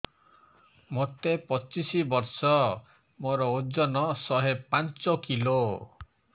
ମୋତେ ପଚିଶି ବର୍ଷ ମୋର ଓଜନ ଶହେ ପାଞ୍ଚ କିଲୋ